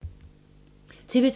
TV 2